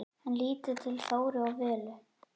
Hann lítur til Þóru og Völu.